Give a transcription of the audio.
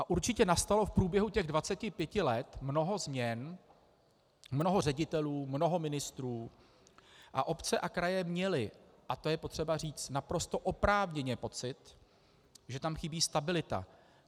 A určitě nastalo v průběhu těch 25 let mnoho změn, mnoho ředitelů, mnoho ministrů, a obce a kraje měly, a to je potřeba říct, naprosto oprávněně pocit, že tam chybí stabilita.